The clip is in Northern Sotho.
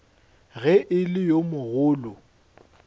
ge e le yo mogolo